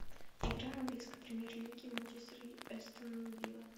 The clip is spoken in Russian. игра английской премьер лиги манчестер астон вилла